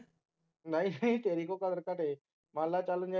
ਨਹੀਂ ਨਹੀਂ ਤੇਰੀ ਕਿਉਂ ਕਦਰ ਘਟੇ ਮੰਨ ਲੈ ਚੱਲ